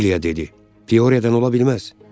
Dilya dedi: Pioryadan ola bilməz!